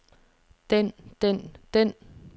den den den